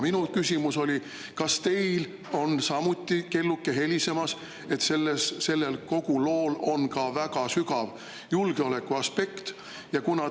Minu küsimus oli: kas teil on samuti helisemas kelluke, et sellel lool on ka väga tugev julgeolekuaspekt?